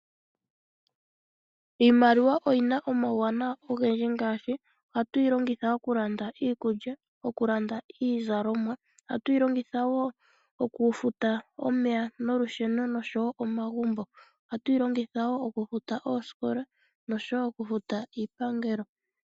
Iimaliwa oyina omauwanawa ogendji ngaashi ohatu yi longitha okulanda iikulya, okulanda iizalomwa ohatu yi longitha wo okufuta omeya nolusheno osho wo omagumbo, ohatu yi longitha wo okufta oosikola osho wo okufuta iipangelo.